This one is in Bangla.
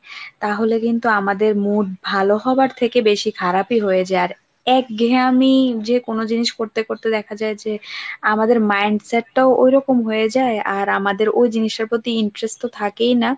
তাহলে কিন্তু আমাদের mood ভালো হওয়ার থেকে বেশি খারাপি হয়ে যার একঘেয়েমি যে কোন জিনিস করতে করতে দেখা যায় যে আমাদের mind set টাও ওইরকম হয়ে যায় আর আমাদের ওই জিনিসটা প্রতি interest তো থাকেই না।